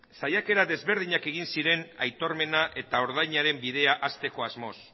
saiakera desberdinak egin ziren aitormena eta ordainaren bidea hasteko asmoz